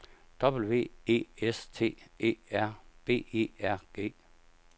W E S T E R B E R G